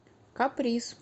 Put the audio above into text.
каприз